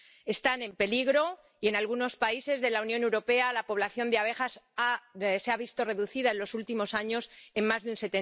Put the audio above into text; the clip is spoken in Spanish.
Están en peligro y en algunos países de la Unión Europea la población de abejas se ha visto reducida en los últimos años en más de un